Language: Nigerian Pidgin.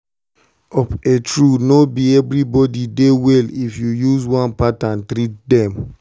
of a true no be everybody dey well if you use one pattern treat them.